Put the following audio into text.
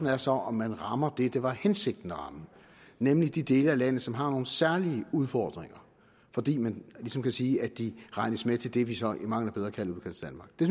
er så om man rammer det det var hensigten at ramme nemlig de dele af landet som har nogle særlige udfordringer fordi man ligesom kan sige at de regnes med til det vi så i mangel af bedre kalder udkantsdanmark det